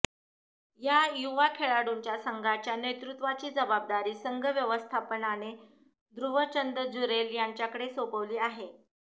या युवा खेळाडूंच्या संघाच्या नेतृत्वाची जबाबदारी संघ व्यवस्थापनाने ध्रुव चंद जुरेल यांच्याकडे सोपवली आहे